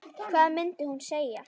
Hvað mundi hún segja?